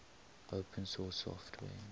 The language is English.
open source software